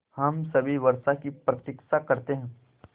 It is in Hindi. हम सभी वर्षा की प्रतीक्षा करते हैं